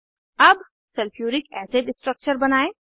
अब sulphuric acid structure बनायें